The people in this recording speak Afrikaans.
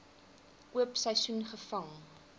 oop seisoen gevang